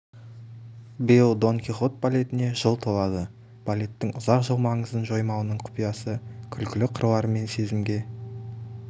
биыл дон кихот балетіне жыл толады балеттің ұзақ жыл маңызын жоймауының құпиясы күлкілі қырлары мен сезімге